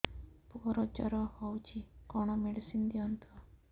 ପୁଅର ଜର ହଉଛି କଣ ମେଡିସିନ ଦିଅନ୍ତୁ